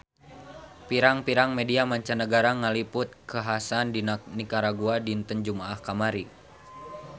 Pirang-pirang media mancanagara ngaliput kakhasan di Nikaragua dinten Jumaah kamari